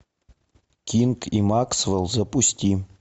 кинг и максвелл запусти